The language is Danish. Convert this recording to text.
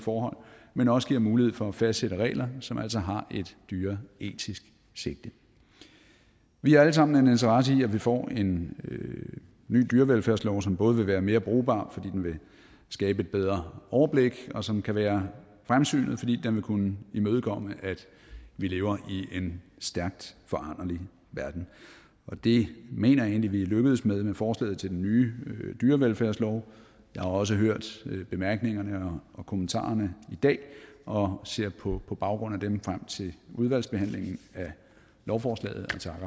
forhold men også giver mulighed for at fastsætte regler som altså har et dyreetisk sigte vi har alle sammen en interesse i at vi får en ny dyrevelfærdslov som både vil være mere brugbar fordi den vil skabe et bedre overblik og som kan være fremsynet fordi den vil kunne imødekomme at vi lever i en stærkt foranderlig verden det mener jeg egentlig vi er lykkedes med med forslaget til den nye dyrevelfærdslov jeg har også hørt bemærkningerne og kommentarerne i dag og ser på baggrund af dem frem til udvalgsbehandlingen af lovforslaget